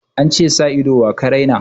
An ce da ido wa ka raina?